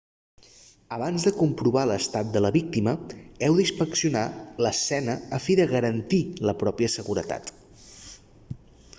abans de comprovar l'estat de la víctima heu d'inspeccionar l'escena a fi de garantir la pròpia seguretat